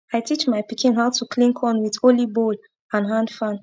i teach my pikin how to clean corn wit only bowl and hand fan